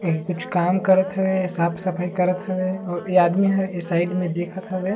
ये कुछ काम करत हवे साफ सफाई करत हवेऔर ये आदमी साइड में देखत हवे।